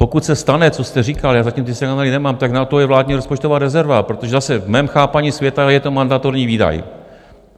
Pokud se stane, co jste říkal, já zatím ty signály nemám, tak na to je vládní rozpočtová rezerva, protože zase v mém chápání světa je to mandatorní výdaj.